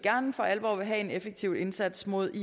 for alvor vil have en effektiv indsats mod is